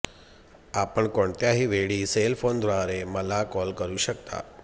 आपण कोणत्याही वेळी सेल फोनद्वारे मला कॉल करु शकता